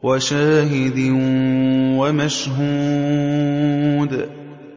وَشَاهِدٍ وَمَشْهُودٍ